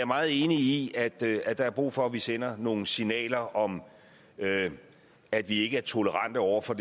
meget enig i at der er der er brug for at vi sender nogle signaler om at vi ikke er tolerante over for